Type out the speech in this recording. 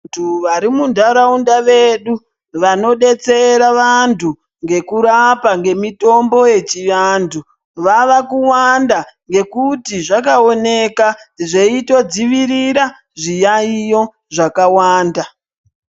Vantu vari munharaunda yedu vanodetsera vantu ngekurapa ngemutombo yechiantu vava kuwanda ngekuti zvakaoneka zveitodziirira zviyaiyo zvakawanda.